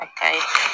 A ka ɲi